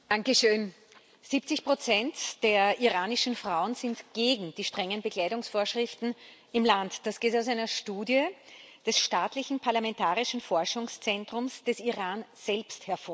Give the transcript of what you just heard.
Herr Präsident! 70 der iranischen Frauen sind gegen die strengen Bekleidungsvorschriften im Land. Das geht aus einer Studie des staatlichen Parlamentarischen Forschungszentrums des Irans selbst hervor.